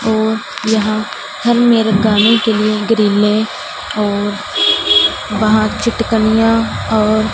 और यहां हर मेरे गाने के लिए ग्रीले और वहां चिटकनियां और--